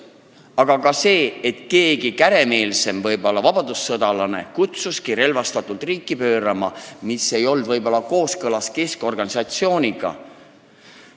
Samuti vahest mõni käremeelsem vabadussõjalane kutsuski üles relvastatult riigivõimu pöörama, kuigi see keskorganisatsiooni põhimõtetega ei olnud võib-olla kooskõlas.